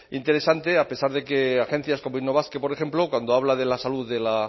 interesante a pesar de que agencias como innobasque por ejemplo cuando habla de la salud de la